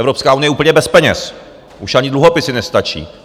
Evropská unie je úplně bez peněz, už ani dluhopisy nestačí.